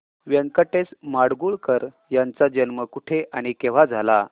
व्यंकटेश माडगूळकर यांचा जन्म कुठे आणि केव्हा झाला